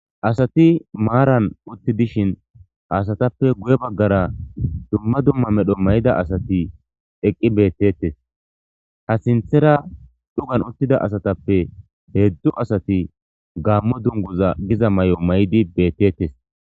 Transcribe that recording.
Asati maaran utti dishin asatappe guye baggara dumma dumma medho may'ida asati eqqi beettettes ha sinthera dhugan uttida asatappe heedzdzu asati gaammo dunguza giza may'o may'di beettettes